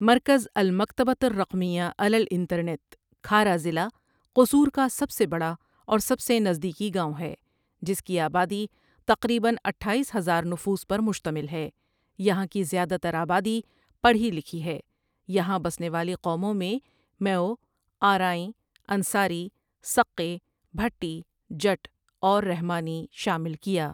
مركز المكتبة الرقمية على الإنترنت کھارا ضلع قصور کا سب سے بڑا اور سب سے نزدیکی گاؤں ہے جس کی آبادی تقریبآ اٹھاییس ہزار نفوس پر مشتمل ہے یہاں کی زیادہ تر آبادی پڑھی لکھی ہے یہاں بسنے والی قوموں میں میئو، آرائیں، انصاری، سقے، بھٹی، جٹ اور رحمانی شامل کیا۔